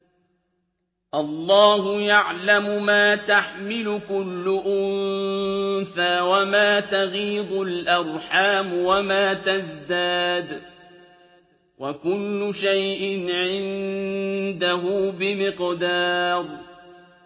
اللَّهُ يَعْلَمُ مَا تَحْمِلُ كُلُّ أُنثَىٰ وَمَا تَغِيضُ الْأَرْحَامُ وَمَا تَزْدَادُ ۖ وَكُلُّ شَيْءٍ عِندَهُ بِمِقْدَارٍ